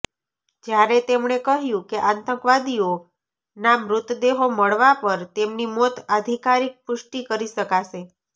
જ્યારે તેમણે કહ્યું કે આતંકવાદીઓના મૃતદેહો મળવા પર તેમની મોત અધિકારીક પુષ્ટિ કરી શકાશે